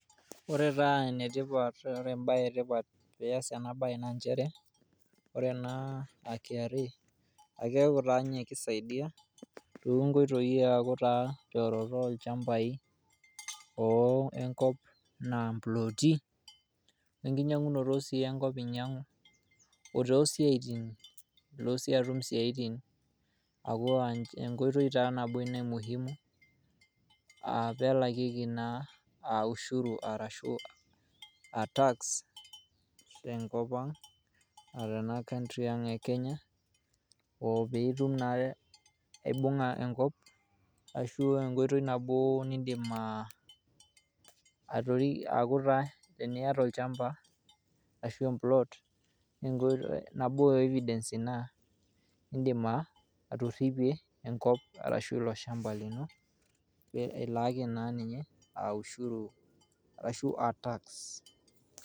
Ore taa enetipat ore ebae etipat piyas enabae na njere, ore ena ah KRA, akeeku taanye kisaidia, tonkoitoii aku taa teoroto olchambai o enkop enaa mplooti, enkinyang'unoto si enkop inyang'u, otoo siaitin, ilo si atum isiaitin aku enkoitoi nabo ina e muhimu, ah pelalieki naa ah ushuru arashu a tax, tenkop ang' otena country ang' e Kenya, opiitum naa aibung'a enkop, ashu enkoitoi nabo nidim atori teniata olchamba, ashu empuloot, nabo e evidence ina, idim atorripie enkop, arashu ilo shamba lino, pe ilaaki na ninye ushuru ashu a tax.